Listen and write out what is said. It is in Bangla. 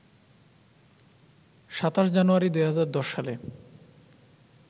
২৭ জানুয়ারি ২০১০ সালে